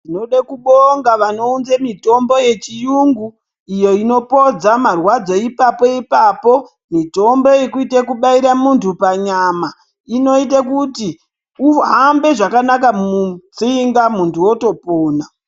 Tinodekubonga vanounze mitombo yechiyungu iyo inopodza marwadzo ipapo ipapo. Mitombo yekuite kubaire muntu panyama inoite kuti uhambe zvakanaka mutsinga muntu wotopona.